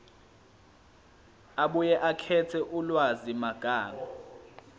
abuye akhethe ulwazimagama